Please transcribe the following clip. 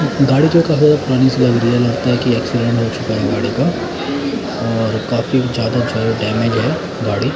गाड़ी जो का है पुरानी से लग रही है लगता है कि एक्सीडेंट हो चुका है गाड़ी का और काफी जादा जो है डैमेज है गाड़ी।